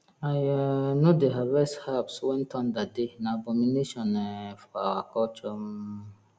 i um no dey harvest herbs when thunder dey na abomination um for our culture um